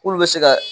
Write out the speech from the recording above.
K'olu bɛ se ka